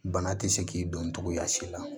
Bana tɛ se k'i don cogoya si la